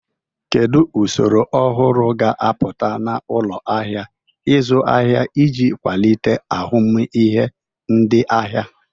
Kedu usoro ọhụrụ ga-apụta na ụlọ ahịa ịzụ ahịa iji kwalite ahụmịhe ndị ahịa?